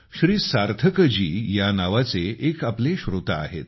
श्री सार्थक जी नावाचे एक श्रोता आहेत